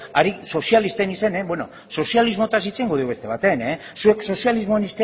izenean beno sozialismotaz hitz egingo dugu bestea batean zuek sozialismoaren